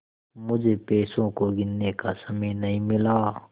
मुझे पैसों को गिनने का समय नहीं मिला